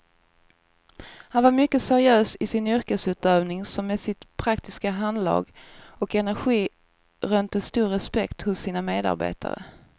Han var mycket seriös i sin yrkesutövning som med sitt praktiska handlag och energi rönte stor respekt hos sina medarbetare.